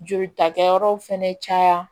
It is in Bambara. Jolita kɛ yɔrɔw fɛnɛ caya